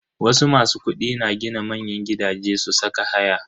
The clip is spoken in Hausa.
Wasu masu kudi na gina manyan gidaje su saka haya.